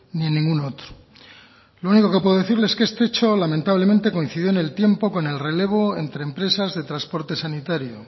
ni en ningún otro lo único que puedo decirle es que este hecho lamentablemente coincidió en el tiempo con el relevo entre empresas de transporte sanitario